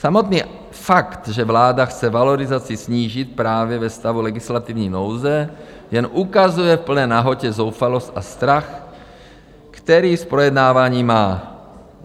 Samotný fakt, že vláda chce valorizaci snížit právě ve stavu legislativní nouze, jen ukazuje v plné nahotě zoufalost a strach, který z projednávání má.